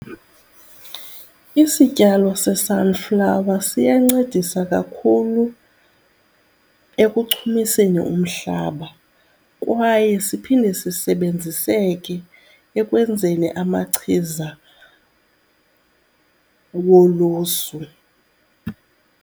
Isityalo se-sunflower siyancedisa kakhulu ekuchumiseni umhlaba kwaye siphinde sisebenziseke ekwenzeni amachiza wolusu.